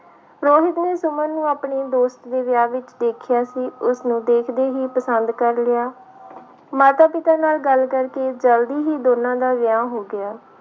ਰੋਹਿਤ ਨੇ ਸੁਮਨ ਨੂੰ ਆਪਣੀ ਦੋਸਤ ਦੇ ਵਿਆਹ ਵਿੱਚ ਦੇਖਿਆ ਸੀ ਉਸਨੂੰ ਦੇਖਦੇ ਹੀ ਪਸੰਦ ਕਰ ਲਿਆ ਮਾਤਾ ਪਿਤਾ ਨਾਲ ਗੱਲ ਕਰਕੇ ਜ਼ਲਦੀ ਹੀ ਦੋਨਾਂ ਦਾ ਵਿਆਹ ਹੋ ਗਿਆ।